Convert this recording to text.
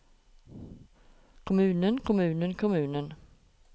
kommunen kommunen kommunen